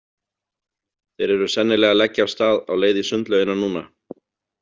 Þeir eru sennilega að leggja af stað á leið í sundlaugina núna.